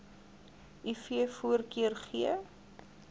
iv voorkeur gee